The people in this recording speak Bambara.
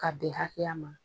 Ka bɛn hakɛya ma.